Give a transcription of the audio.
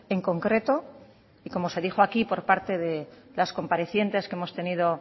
en concreto y como se dijo aquí por parte de las comparecientes que hemos tenido